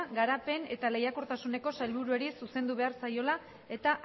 garapen eta lehiakortasuneko sailburuari zuzendu behar zaiola eta